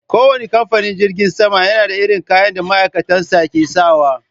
Kowanne kamfanin jirgin sama yana da irin kayan da ma'aikatan sa ke sawa.